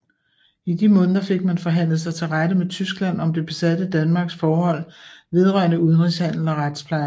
I de måneder fik man forhandlet sig til rette med Tyskland om det besatte Danmarks forhold vedrørende udenrigshandel og retspleje